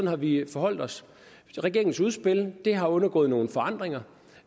har vi forholdt os til regeringens udspil det har undergået nogle forandringer